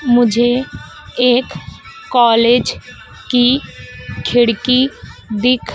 मुझे एक कॉलेज की खिड़की दिख--